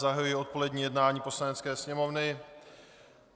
Zahajuji odpolední jednání Poslanecké sněmovny.